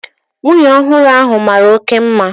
Nwunye ọhụrụ ahu mara oké mma